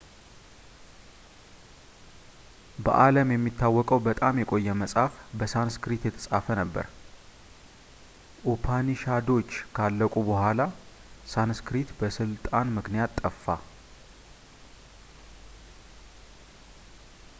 በዓለም የሚታወቀው በጣም የቆየ መጽሐፍ በሳንስክሪት የተጻፈ ነበር ኡፓኒሻዶች ካለቁ በኋላ ሳንስክሪት በሥልጣን ምክንያት ጠፋ